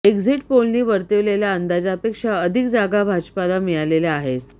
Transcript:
exit पोलनी वर्तविलेल्या अंदाजापेक्षा अधिक जागा भाजपला मिळालेल्या आहेत